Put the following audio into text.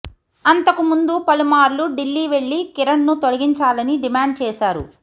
అంతకుముందు పలుమార్లు ఢిల్లీ వెళ్లి కిరణ్ను తొలగించాలని డిమాండ్ చేశారు